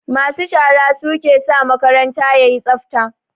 Masu shara su ke sa makaranta yayi tsafta